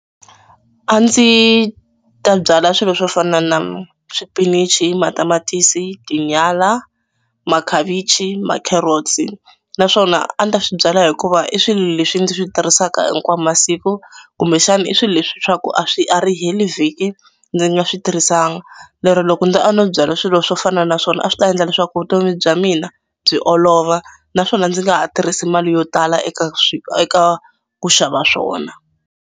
A ndzi ta byala swilo swo fana na swipinichi, matamatisi, tinyala, makhavichi, ma-carrots naswona a ni ta swi byala hikuva i swilo leswi ndzi swi tirhisaka hinkwawo masiku kumbexana i swilo leswi swa ku a swi a ri heli vhiki ndzi nga swi tirhisanga. Le ro loko a no byala swilo swo fana naswona a swi ta endla leswaku vutomi bya mina byi olova naswona ndzi nga ha tirhisi mali yo tala eka eka ku xava swona.